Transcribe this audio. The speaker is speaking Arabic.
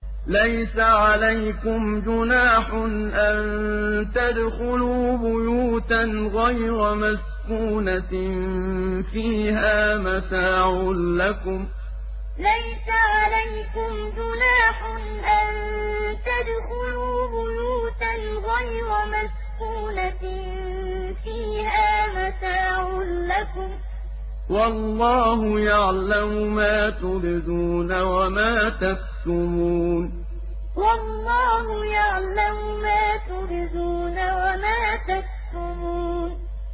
لَّيْسَ عَلَيْكُمْ جُنَاحٌ أَن تَدْخُلُوا بُيُوتًا غَيْرَ مَسْكُونَةٍ فِيهَا مَتَاعٌ لَّكُمْ ۚ وَاللَّهُ يَعْلَمُ مَا تُبْدُونَ وَمَا تَكْتُمُونَ لَّيْسَ عَلَيْكُمْ جُنَاحٌ أَن تَدْخُلُوا بُيُوتًا غَيْرَ مَسْكُونَةٍ فِيهَا مَتَاعٌ لَّكُمْ ۚ وَاللَّهُ يَعْلَمُ مَا تُبْدُونَ وَمَا تَكْتُمُونَ